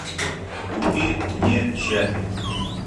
купи мне чаппи